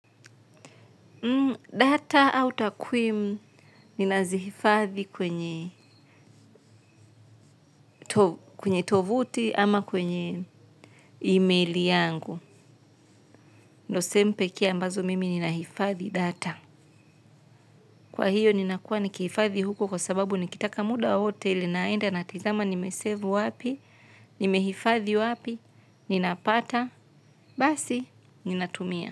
Data au takwimu ninazihifadhi kwenye kwenye tovuti ama kwenye email yangu. Ndo sehemu pekee ambazo mimi nina hifadhi data. Kwa hiyo nina kuwa nikihifadhi huko kwa sababu nikitaka muda wowote ile naenda natizama nimesave wapi, nimehifadhi wapi, ninapata, basi ninatumia.